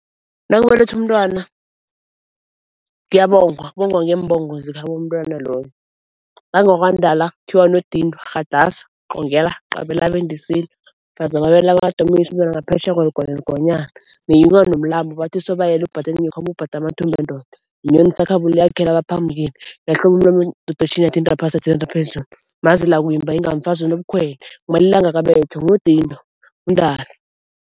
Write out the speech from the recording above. Nakubelethwa umntwana kuyabongwa kubongwa ngeembongo zekhabo mntwana loyo. NakungwakaNdala kuthiwa Nodindwa qongela, qabela . Mfazi wamabele amade omunyisa umntwana ngaphetjheya kweligwa neligwanyana. Meyiwa nomlambo bathi sobayele ubade amathumbu wendoda. Inyoni yakhela abaphambukeli. yathinta phasi yathinta phezulu. Mazela koyimba inga mfazi onobukhwele. Ngumalila angakabethwa nguNodindwa uNdala.